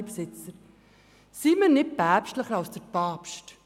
Aber seien wir nicht päpstlicher als der Papst.